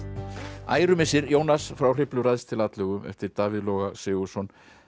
ærumissir Jónas frá Hriflu ræðst til atlögu eftir Davíð Loga Sigurðsson